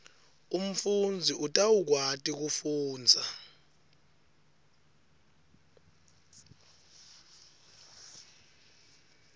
umfundzi utawukwati kufundza